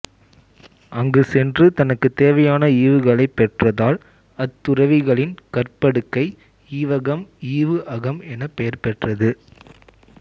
அங்குச் சென்று தனக்குத் தேவையான ஈவுகளைப் பெற்றதால் அத் துறவிகளின் கற்படுக்கை ஈவகம் ஈவுஅகம் எனப் பெயர் பெற்றது